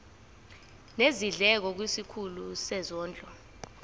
nezindleko kwisikhulu sezondlo